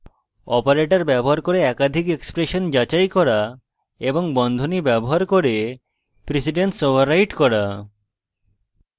operators ব্যবহার করে একাধিক এক্সপ্রেশন যাচাই করা এবং বন্ধনী ব্যবহার করে precedence ওভাররাইট করা